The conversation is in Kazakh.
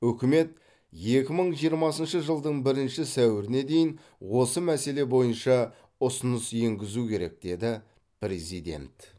үкімет екі мың жиырмасыншы жылдың бірінші сәуіріне дейін осы мәселе бойынша ұсыныс енгізуі керек деді президент